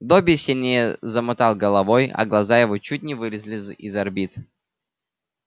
добби сильнее замотал головой а глаза его чуть не вылезли из орбит